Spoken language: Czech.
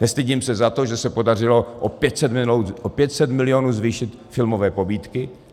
Nestydím se za to, že se podařilo o 500 milionů zvýšit filmové pobídky.